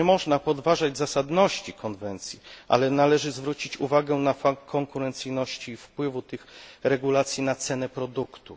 Nie można podważać zasadności konwencji, ale należy zwrócić uwagę na konkurencyjność i wpływ tych regulacji na cenę produktu.